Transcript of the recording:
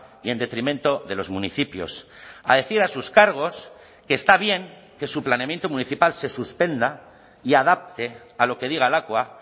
y en detrimento de los municipios a decir a sus cargos que está bien que su planeamiento municipal se suspenda y adapte a lo que diga lakua